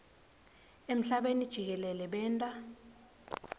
emhlabeni jikelele benta